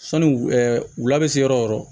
Sɔni wula wula bɛ se yɔrɔ o yɔrɔ